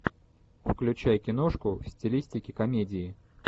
включай киношку в стилистике комедии